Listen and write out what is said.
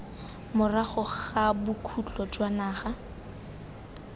morago ga bokhutlo jwa ngwaga